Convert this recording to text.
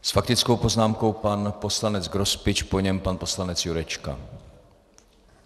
S faktickou poznámkou pan poslanec Grospič, po něm pan poslanec Jurečka.